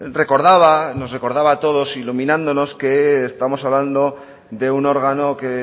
recordaba nos recordaba a todos iluminándonos que estamos hablando de un órgano que